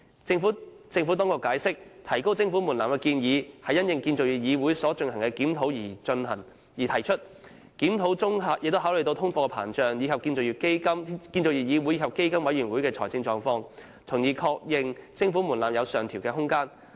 政府當局解釋，提高徵款門檻的建議是因應建造業議會所進行的檢討而提出，檢討中考慮到通貨膨脹，以及建造業議會和基金委員會的財政狀況，從而確認徵款門檻有上調空間。